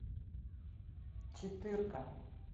четырка